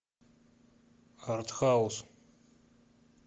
артхаус